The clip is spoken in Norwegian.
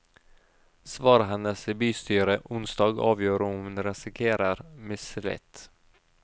Svaret hennes i bystyret onsdag avgjør om hun risikerer mistillit.